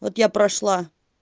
вот я прошла